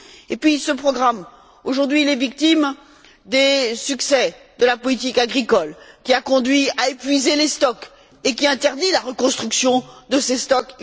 Puis, ce programme est aujourd'hui victime des succès de la politique agricole, qui a conduit à épuiser les stocks et qui interdit la reconstitution de ceux ci.